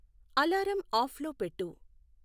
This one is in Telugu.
అలారం ఆఫ్లో పెట్టు